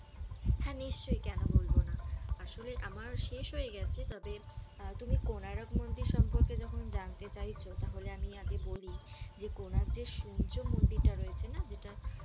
হ্যাঁ নিশ্চয়ই কেন বলব না আসলে আমার শেষ হয়ে গেছে তবে তুমি কোনারক মন্দির সম্পর্কে যখন জানতে চাইছো তাহলে আমি আগে বলি যে সূর্য মন্দিরটা রয়েছে না যেটা